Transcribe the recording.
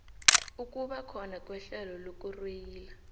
ukubakhona kwehlelo lokurweyila